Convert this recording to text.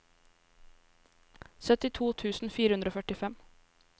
syttito tusen fire hundre og førtifem